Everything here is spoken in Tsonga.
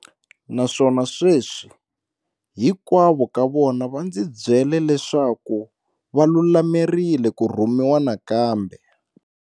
Naswona sweswi, hinkwavo ka vona va ndzi byela leswaku va lulamerile ku rhumiwa nakambe.